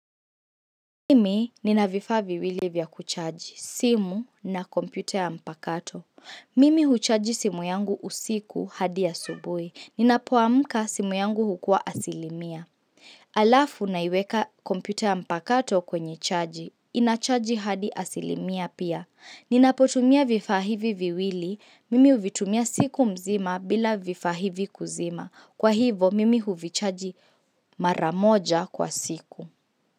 Mimi nina vifa viwili vya kuchaji, simu na kompyuta ya mpakato. Mimi huchaji simu yangu usiku hadi ya asubui. Ninapoamka simu yangu hukua asilimia. Alafu naiweka kompyuta ya mpakato kwenye chaji. Inachaji hadi asilimia pia. Ninapotumia vifa hivi viwili. Mimi uvitumia siku mzima bila vifa hivi kuzima. Kwa hivo, mimi huvichaji mara moja kwa siku.